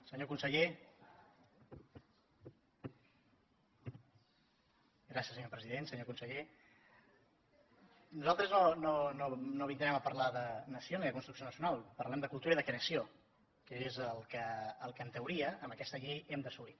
senyor conseller nosaltres no vindrem a parlar de nació ni de construcció nacional parlem de cultura i de creació que és el que en teoria amb aquesta llei hem d’assolir